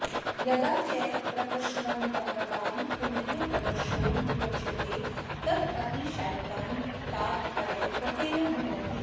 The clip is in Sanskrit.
यदा च प्रकर्षवतां पुनः प्रकर्षो विवक्ष्यते तदातिशायिकान्तादपरः प्रत्ययो भवत्येव